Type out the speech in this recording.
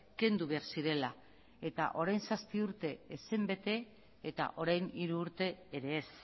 kendu behar zirela eta orain zazpi urte ez zen bete eta orain hiru urte ere ez